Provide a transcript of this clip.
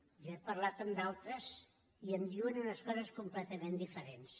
jo he parlat amb d’altres i em diuen unes coses completament diferents